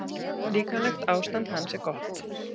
Líkamlegt ástand hans er gott.